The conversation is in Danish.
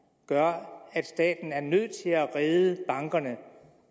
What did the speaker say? gør at staten er nødt til at redde bankerne